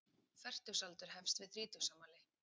Fertugsaldur hefst við þrítugsafmæli.